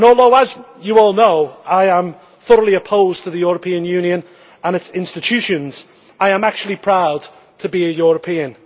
As you all know, I am thoroughly opposed to the European Union and its institutions but I am actually proud to be a European.